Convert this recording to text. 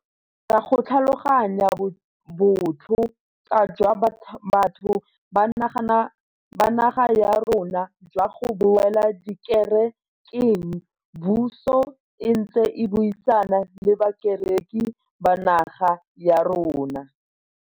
Ka go tlhaloganya botlho kwa jwa batho ba naga ya rona jwa go boela dikere keng, puso e ntse e buisana le bakereki ba naga ya rona.